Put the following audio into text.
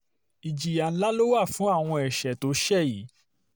ìjìyà ńlá ló wà fún àwọn ẹ̀ṣẹ̀ tó o ṣe yìí